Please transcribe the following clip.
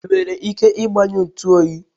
i nwere ike igbanyụ ntu oyi?